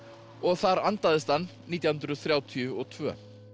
og þar andaðist hann nítján hundruð þrjátíu og tvö